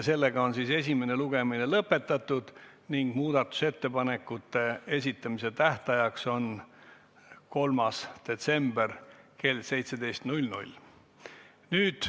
Esimene lugemine on lõpetatud ning muudatusettepanekute esitamise tähtaeg on 3. detsembril kell 17.